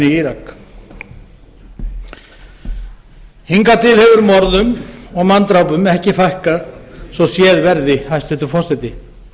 í írak hingað til hefur morðum og manndrápum ekki fækkað svo séð verði hæstvirtur forseti